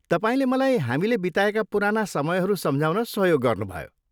तपाईँले मलाई हामीले बिताएका पुराना समयहरू सम्झाउन सहयोग गर्नुभयो।